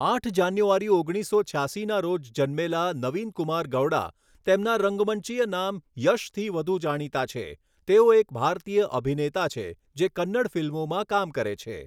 આઠ જાન્યુઆરી ઓગણીસો છ્યાસી ના રોજ જન્મેલા નવીન કુમાર ગૌડા, તેમના રંગમંચીય નામ યશથી વધુ જાણીતા છે, તેઓ એક ભારતીય અભિનેતા છે, જે કન્નડ ફિલ્મોમાં કામ કરે છે.